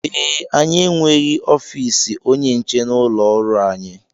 Ee, anyị enweghị ofiisi onye nche n'ụlọọrụ anyị